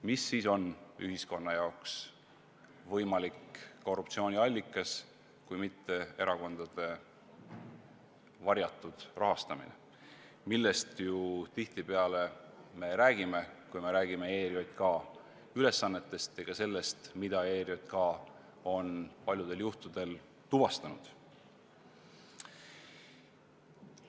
Mis siis veel on ühiskonna jaoks võimalik korruptsiooniallikas kui mitte erakondade varjatud rahastamine, millest me ju tihtipeale räägime, kui me räägime ERJK ülesannetest ja ka sellest, mida ERJK on paljudel juhtudel tuvastanud?